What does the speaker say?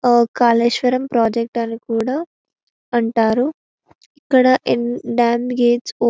ఆహ్ కాళేశ్వరం ప్రాజెక్ట్ అని కూడా అంటారు ఇక్కడ డాం గేట్స్ --